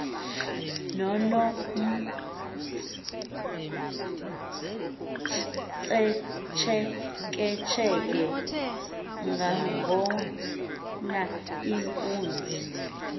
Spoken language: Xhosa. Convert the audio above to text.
nonomtsheketshe nangona iinkunzi